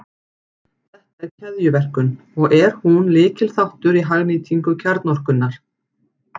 Þetta er keðjuverkun, og er hún lykilþáttur í hagnýtingu kjarnorkunnar.